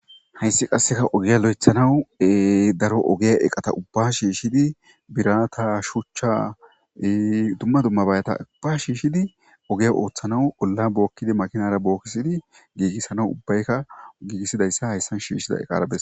Hayssi qasseka ogiya lo7ethanawu daro ogeya eqata ubba shiishshidi bira ta shuchcha dumma dumma bayata ubba shiishshidi ogeya ooththanaw olla bookkidi makinara bookkisidi giigissana ubbayka giigissidayssa hayssan shiishida eqarabes.